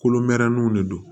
Kolonmɛrɛninw de do